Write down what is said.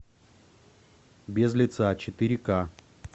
без лица четыре ка